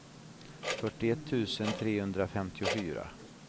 fyrtioett tusen trehundrafemtiofyra